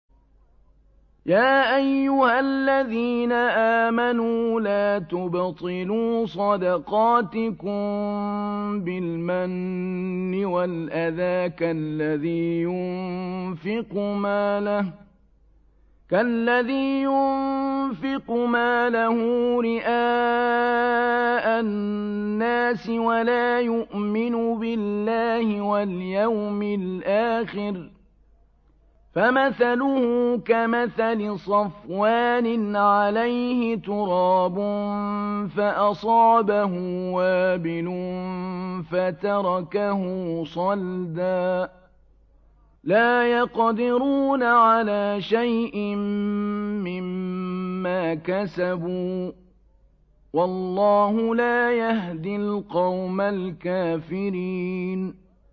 يَا أَيُّهَا الَّذِينَ آمَنُوا لَا تُبْطِلُوا صَدَقَاتِكُم بِالْمَنِّ وَالْأَذَىٰ كَالَّذِي يُنفِقُ مَالَهُ رِئَاءَ النَّاسِ وَلَا يُؤْمِنُ بِاللَّهِ وَالْيَوْمِ الْآخِرِ ۖ فَمَثَلُهُ كَمَثَلِ صَفْوَانٍ عَلَيْهِ تُرَابٌ فَأَصَابَهُ وَابِلٌ فَتَرَكَهُ صَلْدًا ۖ لَّا يَقْدِرُونَ عَلَىٰ شَيْءٍ مِّمَّا كَسَبُوا ۗ وَاللَّهُ لَا يَهْدِي الْقَوْمَ الْكَافِرِينَ